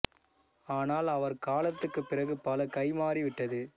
ஆனால் அவர் காலத்துக்குப் பிறகு பல கை மாறி விட்டது